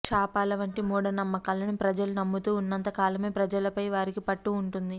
శాపాల వంటి మూఢ నమ్మకాలను ప్రజలు నమ్ముతూ ఉన్నంత కాలమే ప్రజలపై వారికి పట్టు ఉంటుంది